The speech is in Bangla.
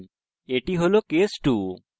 এটি হল case 2